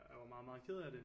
Jeg var meget meget ked af det